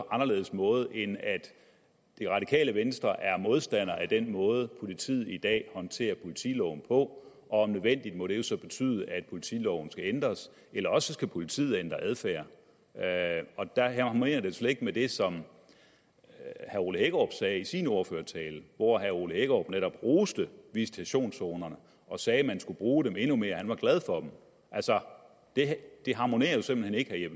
anderledes måde end at det radikale venstre er modstander af den måde politiet i dag håndterer politiloven på og om nødvendigt må det jo så betyde at politiloven skal ændres eller også skal politiet ændre adfærd og der harmonerer det jo slet ikke med det som herre ole hækkerup sagde i sin ordførertale hvor herre ole hækkerup netop roste visitationszonerne og sagde at man skulle bruge dem endnu mere han var glad for dem altså det harmonerer jo simpelt hen ikke vil